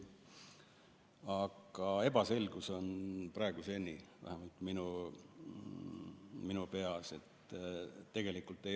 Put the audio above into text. Aga ebaselgus on praeguseni, vähemalt minu peas.